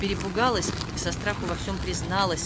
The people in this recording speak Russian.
перепугалась и со страху во всем призналась